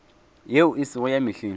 yeo e sego ya mehleng